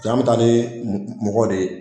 Paseke an mi taa ni mɔgɔ de ye